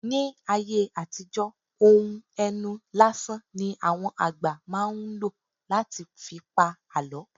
Ní ayé àtijọ́ ohùn ẹnu lásán ní àwọn àgbà máa ń ló láti fi pa àlọ́